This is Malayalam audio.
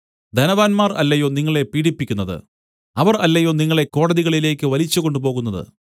ധനവാന്മാർ അല്ലയോ നിങ്ങളെ പീഢിപ്പിക്കുന്നത് അവർ അല്ലയോ നിങ്ങളെ കോടതികളിലേക്ക് വലിച്ചുകൊണ്ടുപോകുന്നത്